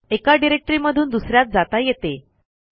एका डिरेक्टरीमधून दुस यात जाता येते